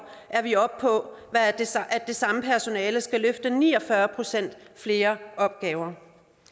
er vi oppe på at det samme personale skal løfte ni og fyrre procent flere opgaver